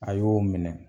A y'o minɛ